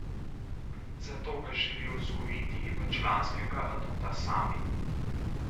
Zato ga želijo vzgojiti v članskega aduta sami.